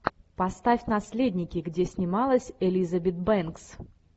поставь наследники где снималась элизабет бэнкс